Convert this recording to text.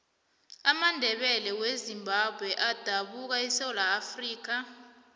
amandebele wezimbabwe adabuka esewula afrikha